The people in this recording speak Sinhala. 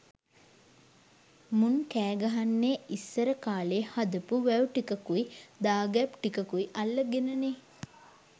මුන් කෑ ගහන්නෙ ඉස්සර කාලෙ හදපු වැව් ටිකකුයි දාගැබ් ටිකකුයි අල්ල ගෙන නෙ.